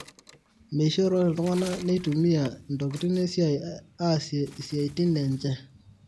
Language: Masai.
meishoro iltungana neitumia intokitin esiai aasie siaitin enche